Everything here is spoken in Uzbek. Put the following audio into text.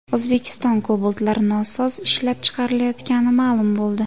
O‘zbekistonda Cobalt’lar nosoz ishlab chiqarilayotgani ma’lum bo‘ldi.